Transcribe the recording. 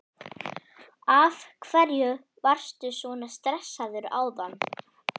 Af hverju varstu svona stressaður áðan?